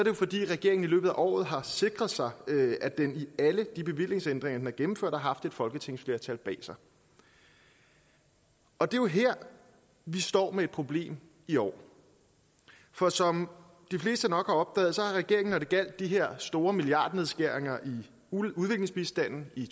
jo fordi regeringen i løbet af året har sikret sig at den i alle de bevillingsændringer den har gennemført har haft et folketingsflertal bag sig og det er jo her vi står med et problem i år for som de fleste nok har opdaget har regeringen når det gjaldt de her store milliardnedskæringer i udviklingsbistanden i